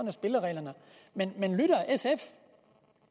er spillereglerne men men lytter sf